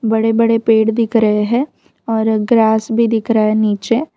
बड़े बड़े पेड़ दिख रहे हैं और ग्रास भी दिख रा है नीचे।